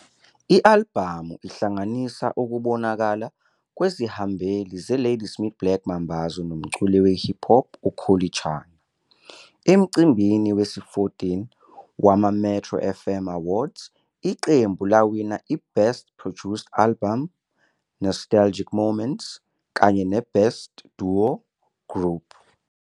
I-albhamu ihlanganisa ukubonakala kwezihambeli zeLadysmith Black Mambazo nomculi we-hip hop uKhuli Chana. Emcimbini we-14 wamaMetro FM Awards, iqembu lawina i-Best Produced Album, Nostalgic Moments, kanye ne-Best Duo Group.